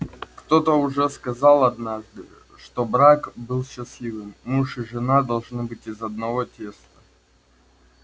кто-то уже сказал однажды чтобы брак был счастливым муж и жена должны быть из одного теста